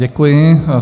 Děkuji.